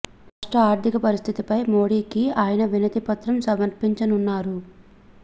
రాష్ట్ర ఆర్ధిక పరిస్థితిపై మోడీకి ఆయన వినతి పత్రం సమర్పించనున్నారు